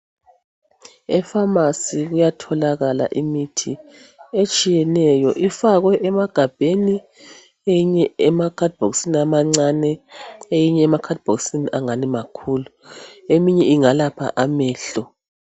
Efamasi kuyatholakala imithi etshiyeneyo ifakwe emagabheni eyinye emakhadibhokisini amancani eyinye emakhadibhokisini angani makhulu eminye ingalapha amehlo.